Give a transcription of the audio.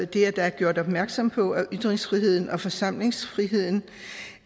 det at der er gjort opmærksom på at ytringsfriheden og forsamlingsfriheden